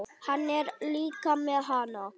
Hann er líka með HANA!